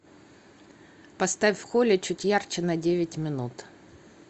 поставь в холле чуть ярче на девять минут